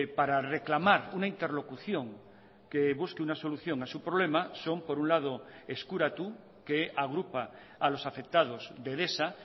para reclamar una interlocución que busque una solución a su problema son por un lado eskuratu que agrupa a los afectados de edesa